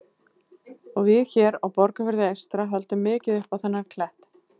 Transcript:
Og við hér á Borgarfirði eystra höldum mikið upp á þennan klett.